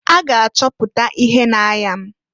A ga achọpụta ihe na-aya m.